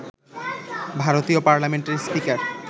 ভারতীয় পার্লামেন্টের স্পিকার